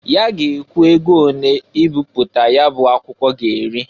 Ya ga ekwu ego onee ibipụta ya bụ akwụkwọ ga-eri.